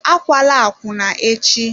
Akwala akwụna echi!